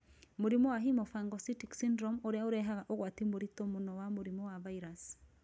Mũrimũ wa hemophagocytic syndrome ũrĩa ũrehaga ũgwati mũritũ mũno wa mũrimũ wa virus.